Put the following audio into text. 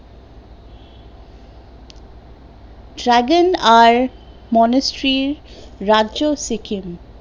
dragon আর মনস্রির রাজ্য সিকিম